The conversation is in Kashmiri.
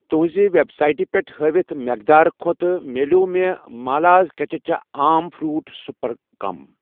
تُُہنٛزِ ویب سایٹہٕ پٮ۪ٹھ ہٲیِتھ مٮ۪قدار کھۄتہٕ مِلٮ۪و مےٚ مالاز کچچا آم فرٛوٗٹ سِرپ کم